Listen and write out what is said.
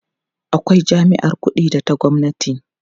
akwai jami'ar ƙuɗi da ta gwamnati